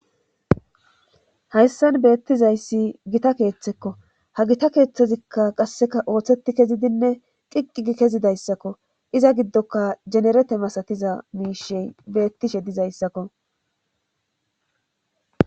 Hayssan beettizayssi gita keeththekko ha gita keeththezikka qasseka ooththeti kezidinne qiqqii kezidayssakko iza giddoka jenerete masatiza miishey bettishe dizayssakko.